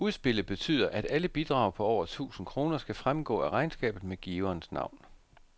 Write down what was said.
Udspillet betyder, at alle bidrag på over tusind kroner skal fremgå af regnskabet med giverens navn.